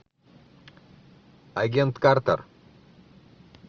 агент картер